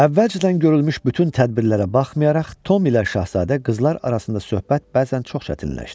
Əvvəlcədən görülmüş bütün tədbirlərə baxmayaraq, Tom ilə şahzadə qızlar arasında söhbət bəzən çox çətinləşdi.